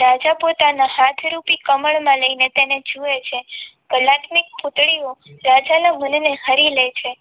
રાજા પોતાના હાથરૂપી કમળમાં લઈને તેને જોવે છે કલાત્મિક પુતળીઓ રાજાના મનને હરી લે છે